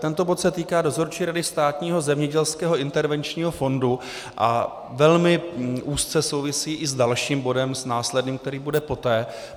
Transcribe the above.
Tento bod se týká Dozorčí rady Státního zemědělského intervenčního fondu a velmi úzce souvisí i s dalším bodem, s následným, který bude poté.